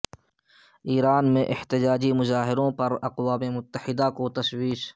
ایران میں احتجاجی مظاہروں پر اقوام متحدہ کو تشویش